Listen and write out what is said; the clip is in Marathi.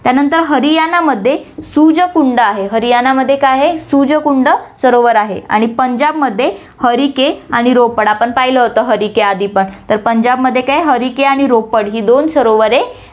त्यानंतर हरियाणामध्ये सूरजकुंड आहे, हरियाणामध्ये काय आहे सूरजकुंड सरोवर आहे आणि पंजाबमध्ये हरिके आणि रोपड आपण पाहिलं होतं हरिके आधी पण, तर पंजाबमध्ये काय, हरिके आणि रोपड ही दोन सरोवरे आ~